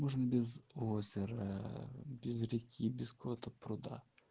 можно без озера без реки без какого-то пруда